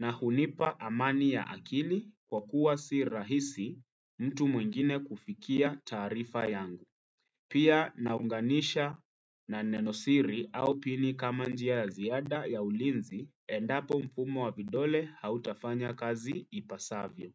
Na hunipa amani ya akili kwa kuwa si rahisi mtu mwingine kufikia tarifa yangu. Pia naunganisha na neno siri au pini kama njia ya ziada ya ulinzi endapo mpumo wa vidole hautafanya kazi ipasavyo.